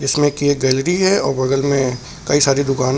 की ये गैलरी है और बगल में कई सारे दुकाने--